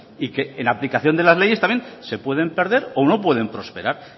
y que en aplicación de las leyes también se pueden perder o no pueden prosperar